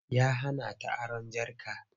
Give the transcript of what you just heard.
Ya hana ta aron jarka.